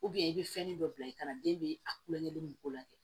i bɛ fɛnni dɔ bila i kana den bɛ a kulonkɛ min ko la kɛ